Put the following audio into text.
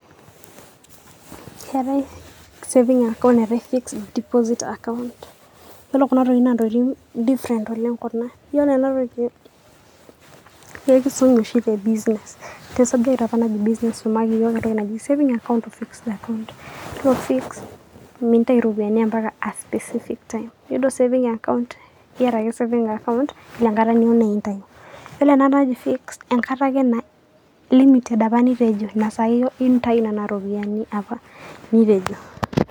Keetae saving account neetae fixed deposit account yiolo Kuna tokitin na ntokitin different oleng Kuna . Yiolo ena toki naa enkisum oshi te business